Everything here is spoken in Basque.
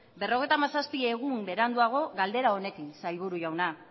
berrogeita hamazazpi egun beranduago galdera honekin sailburu jauna